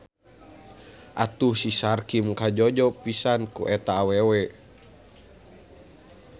Atuh si Sarkim kajojo pisan ku eta awewe.